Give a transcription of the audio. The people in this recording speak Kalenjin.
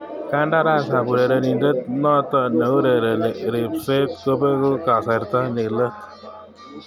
Kandaras ab urerenindet noto neurereni ribset kopegu kasarta ni let.